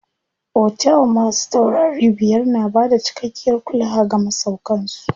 Otel masu taurari biyar na bada cikakkiyar kulawa ga masauƙan su.